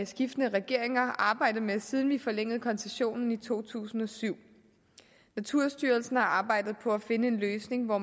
skiftende regeringer arbejdet med siden vi forlængede koncessionen i to tusind og syv naturstyrelsen har arbejdet på at finde en løsning hvor